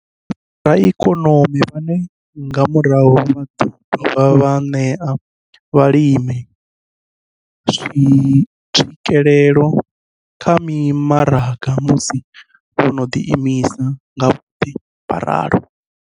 Vhoraikonomi vhane nga murahu vha ḓo dovha vha ṋea vhalimi tswikelelo kha mimaraga musi vho no ḓiimisa nga vhoṱhe vho ralo.